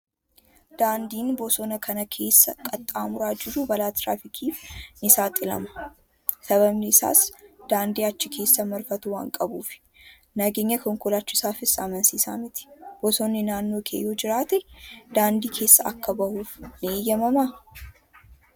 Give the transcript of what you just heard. Daandiin bosona kana keessa qaxxaamuraa jiru balaa tiraafikiif ni saaxilama. Sababni isaas, daandii achi keessa marfatu waan qabuufidha. Nageenya konkolaachisaafis amansiisaa miti. Bosonni naannoo kee yoo jiraate, daandii keessa akka bahuuf ni eeyyamamaa?